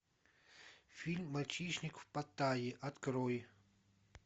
фильм мальчишник в паттайе открой